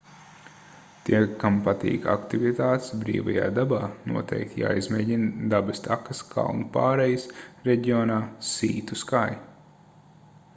tiem kam patīk aktivitātes brīvajā dabā noteikti jāizmēģina dabas takas kalnu pārejas reģionā sea to sky